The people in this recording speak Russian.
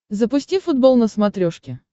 запусти футбол на смотрешке